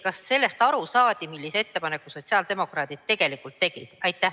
Kas sellest saadi aru, millise ettepaneku sotsiaaldemokraadid tegelikult tegid?